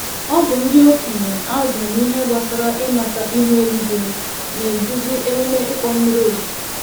Ọbụ ndị okenye azụrụ n'ihe gbásárá ịmata ihu eluigwe, na-eduzi emume ịkpọ mmiri ozuzo.